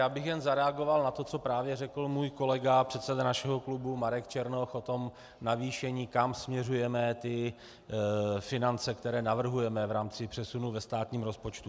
Já bych jen zareagoval na to, co právě řekl můj kolega, předseda našeho klubu Marek Černoch, o tom navýšení, kam směřujeme ty finance, které navrhujeme v rámci přesunu ve státním rozpočtu.